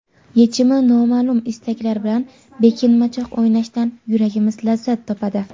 Yechimi noma’lum istaklar bilan bekinmachoq o‘ynashdan yuragimiz lazzat topadi.